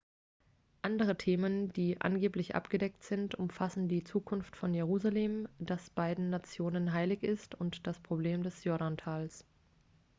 andere themen die angeblich abgedeckt sind umfassen die zukunft von jerusalem das beiden nationen heilig ist und das problem des jordantals